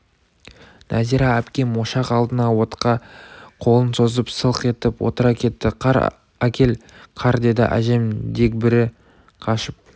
нәзира әпкем ошақ алдына отқа қолын созып сылқ етіп отыра кетті қар әкел қар деді әжем дегбірі қашып